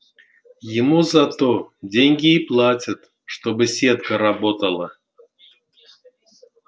ему за то деньги и платят чтобы сетка работала